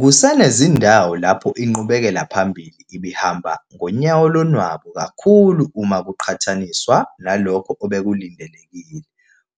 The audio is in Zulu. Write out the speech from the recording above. Kusenezindawo lapho inqubekelaphambili ibihamba ngonyawo lonwabu kakhulu uma kuqhatha niswa nalokho obekulindelekile,